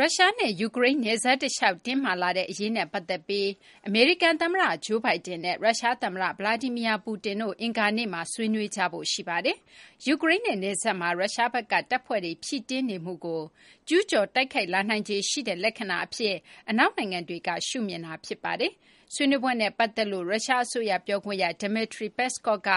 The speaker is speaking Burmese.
ရုရှားနဲ့ ယူကရိန်းနယ်စပ်တလျှောက် တင်းမာလာတဲ့ အရေးနဲ့ ပတ်သက်ပြီး အမေရိကန် သမ္မတ Joe Biden နဲ့ ရုရှားသမ္မတ Vladimir Putin တို့ အင်္ဂါနေ့မှာ ဆွေးနွေးကြဖို့ ရှိနေပါတယ်။ ယူကရိန်းနဲ့ နယ်စပ်မှာ ရုရှားဘက်က တပ်ဖွဲ့တွေ ဖြည့်တင်းနေမှုကို ကျူးကျော် တိုက်ခိုက်လာနိုင်ခြေရှိတဲ့ လက္ခဏာအဖြစ် အနောက်နိုင်ငံတွေက ရှုမြင်တာ ဖြစ်ပါတယ်။ ဆွေးနွေးပွဲနဲ့ ပတ်သက်လို့ ရုရှားအစိုးရ ပြောခွင့်ရ Dmitry Peskov က